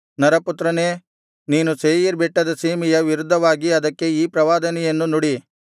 ನರಪುತ್ರನೇ ನೀನು ಸೇಯೀರ್ ಬೆಟ್ಟದ ಸೀಮೆಯ ವಿರುದ್ಧವಾಗಿ ಅದಕ್ಕೆ ಈ ಪ್ರವಾದನೆಯನ್ನು ನುಡಿ